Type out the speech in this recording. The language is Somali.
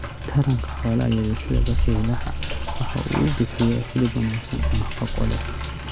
Taranka xoolaha yaryar sida bakaylaha waxa uu bixiyaa hilib wanaagsan oo nafaqo leh.